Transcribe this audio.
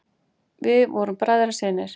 Við vorum bræðrasynir.